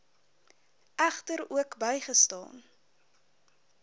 egter ook bygestaan